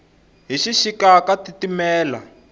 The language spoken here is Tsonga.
hi xixika ka titimela